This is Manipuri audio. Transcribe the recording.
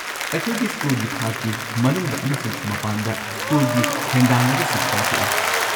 ꯑꯩꯈꯣꯢꯒꯤ ꯁ꯭ꯀꯨꯜꯒꯤ ꯊꯥꯛꯀꯤ ꯃꯅꯨꯡꯗ ꯑꯃꯁꯨꯡ ꯃꯄꯥꯟꯗ ꯁ꯭ꯀꯨꯜꯒꯤ ꯍꯦꯟꯗꯥꯟꯅꯕꯁꯤꯡ ꯄꯥꯡꯊꯣꯛꯏ꯫